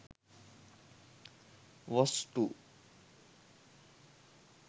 wso2